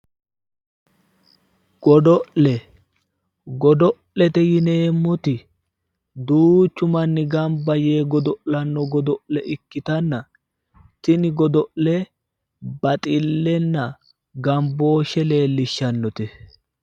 Godo'le godo'lete yineemmoti duuchu manni gamba yee godo'lanno godo'le ikkitanna tini godo'le baxillenna gambooshshe leellishshannote.